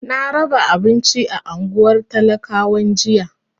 Na raba abinci a unguwar talakawan jiya.